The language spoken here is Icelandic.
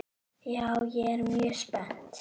Já, ég er mjög spennt.